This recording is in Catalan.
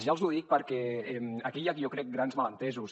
jo els ho dic perquè aquí hi ha jo crec grans malentesos